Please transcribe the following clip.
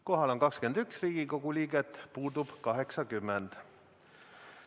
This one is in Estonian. Kohal on 21 Riigikogu liiget, puudub 80.